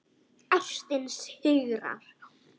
Ástin sigrar.